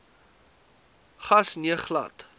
gas nee glad